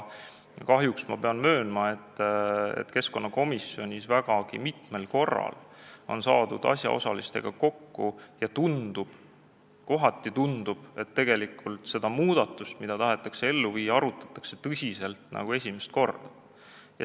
Kahjuks pean ma möönma, et keskkonnakomisjonis on vägagi mitmel korral asjaosalistega kokku saades tundunud, et tegelikult seda muudatust, mida tahetakse ellu viia, arutatakse tõsiselt nagu esimest korda.